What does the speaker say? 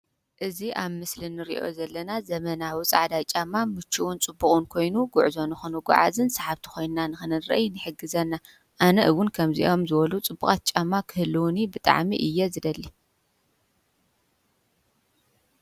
እዚ ኣብ ምስሊ ንሪኦ ዘለና ዘመናዊ ፃዕዳ ጫማ ምችውን ፅቡቅን ኮይኑ ጉዕዞ ንክንጉዓዝን ሰሓብቲ ኮይና ንክንርአ ይሕግዘና። ኣነ እውን ከምዚኦም ዝበሉ ፅቡቓት ጫማ ክህልውኒ ብጣዕሚ እየ ዝደሊ።